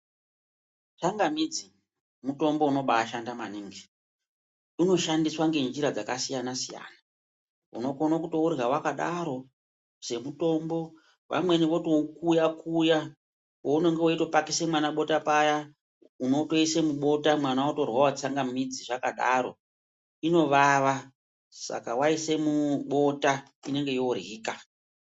Tsamamidzi mutombo unobashanda maningi. Unoshandiswa ngenjira dzakasiyana siyana. Unokono kutourya wakadaro semutombo. Vamweni votoukuya kuya, pounenge weitopakise mwana bota paya, unotoise mubota, mwana otoryawo tsangamidzi zvakadaro. Inovava saka waise mubota, inenge yoryika.